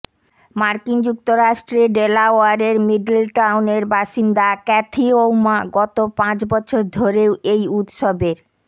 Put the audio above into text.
মার্কিন যুক্তরাষ্ট্রে ডেলাওয়্যারের মিডল টাউনের বাসিন্দা ক্যাথি ওউমা গত পাঁচ বছর ধরেই এই উত্সবের